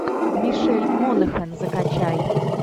мишель монаган закачай